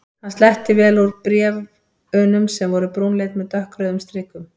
Hann sletti vel úr bréf- unum sem voru brúnleit með dökkrauðum strikum.